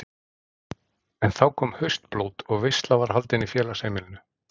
En þá kom haustblót og veisla var haldin í félagsheimilinu.